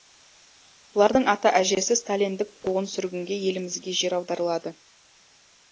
бұлардың ата әжесі сталиндік қуғын сүргінде елімізге жер аударылады